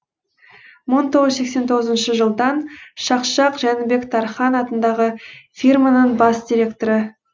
мың тоғыз жүз сексен тоғызыншы жылдан шақшақ жәнібек тархан атындағы фирманың бас директоры